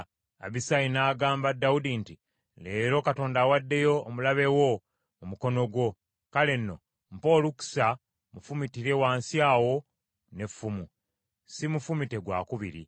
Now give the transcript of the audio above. Abisaayi n’agamba Dawudi nti, “Leero, Katonda awaddeyo omulabe wo mu mukono gwo. Kale nno mpa olukusa mmufumitire wansi awo n’effumu. Siimufumite gwakubiri.”